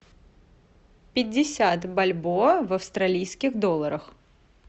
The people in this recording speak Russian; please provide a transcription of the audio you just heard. пятьдесят бальбоа в австралийских долларах